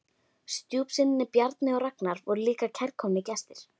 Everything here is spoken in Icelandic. Stjúpsynirnir Bjarni og Ragnar voru líka kærkomnir gestir.